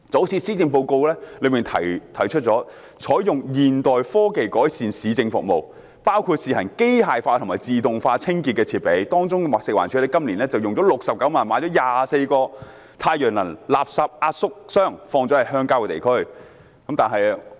施政報告提出採用現代科技改善市政服務，包括試行機械化和自動化清潔設備，當中包括食物環境衞生署今年動用69萬元，購入24個太陽能廢物壓縮箱，放置在鄉郊地區。